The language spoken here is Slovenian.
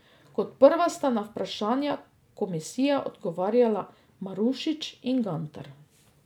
Kot prva sta na vprašanja komisije odgovarjala Marušič in Gantar.